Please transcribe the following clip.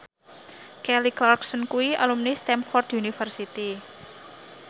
Kelly Clarkson kuwi alumni Stamford University